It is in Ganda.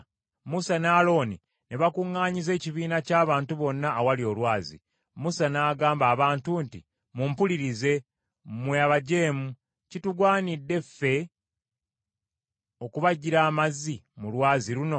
Musa ne Alooni ne bakuŋŋanyiza ekibiina ky’abantu bonna awali olwazi, Musa n’agamba abantu nti, “Mumpulirize, mmwe abajeemu; kitugwanidde ffe okubaggyira amazzi mu lwazi luno?”